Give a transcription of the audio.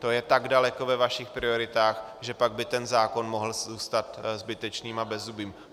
To je tak daleko ve vašich prioritách, že pak by ten zákon mohl zůstat zbytečným a bezzubým.